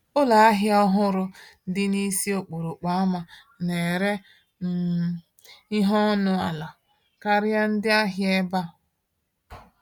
Ụlọ ahịa ọhụrụ dị n’isi okporo ama na-ere um ihe ọnụ ala karịa ndị ahịa ibe ya.